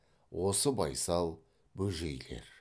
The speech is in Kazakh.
осы байсал бөжейлер